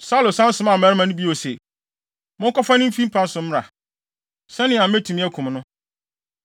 Saulo san somaa mmarima no bio se, “Monkɔfa no mfi ne mpa so mmra, sɛnea metumi akum no.”